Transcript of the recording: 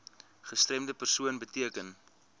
gestremde persoon beteken